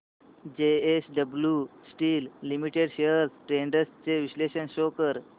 JSW steel limited shares trends चे विश्लेषण show कर